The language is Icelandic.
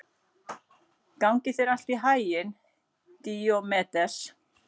Gangi þér allt í haginn, Díómedes.